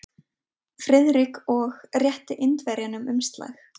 Friðrik og rétti Indverjanum umslag.